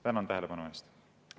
Tänan tähelepanu eest!